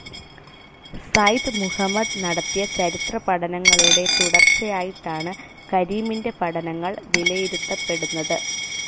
സെയ്ദ്‌ മുഹമ്മദ് നടത്തിയ ചരിത്രപഠനങ്ങളുടെ തുടർച്ചയായിട്ടാണ് കരീമിന്റെ പഠനങ്ങൾ വിലയിരുത്തപ്പെടുന്നത്.